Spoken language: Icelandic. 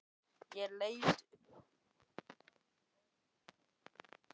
Ég leit upp í gluggana á íbúðinni hans.